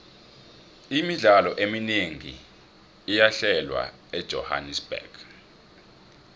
imidlalo eminengi iyahlelwa ejohannerbuxg